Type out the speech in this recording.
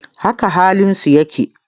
Haka halin su yake.